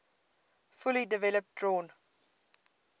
fully developed drawn